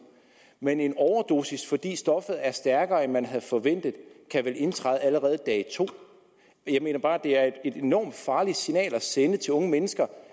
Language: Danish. men en overdosis fordi stoffet er stærkere end man havde forventet kan vel indtræde allerede på dag to jeg mener bare at det er et enormt farligt signal at sende til unge mennesker